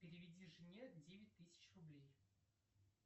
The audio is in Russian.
переведи жене девять тысяч рублей